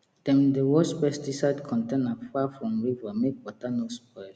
dem dey wash pesticide container far from river make water no spoil